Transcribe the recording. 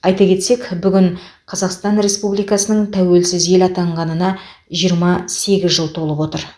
айта кетсек бүгін қазақстан республикасының тәуелсіз ел атанғанына жиырма сегіз жыл толып отыр